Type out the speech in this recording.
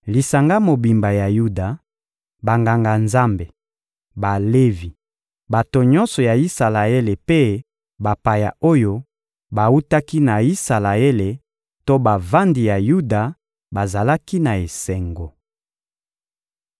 Lisanga mobimba ya Yuda, Banganga-Nzambe, Balevi, bato nyonso ya Isalaele mpe bapaya oyo bawutaki na Isalaele to bavandi ya Yuda bazalaki na esengo.